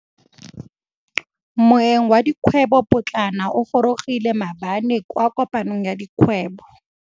Moêng wa dikgwêbô pôtlana o gorogile maabane kwa kopanong ya dikgwêbô.